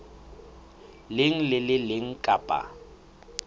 leng le le leng kapa